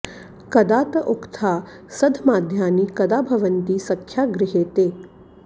कदा त उक्था सधमाद्यानि कदा भवन्ति सख्या गृहे ते